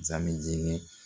Zamɛ ɛjɛg